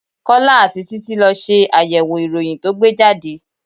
Kọ́lá àti títí lọ ṣe àyẹ̀wò ìròyìn ko tó gbe jáde.